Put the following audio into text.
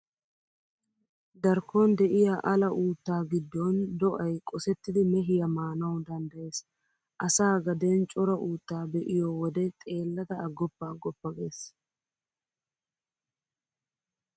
Darkkon de'iya ala uuttaa giddon do'ay qosettidi mehiyaa maanawu danddayees. Asaa gaden cora uuttaa be'iyo wode xeellada aggoppa agoppa gees.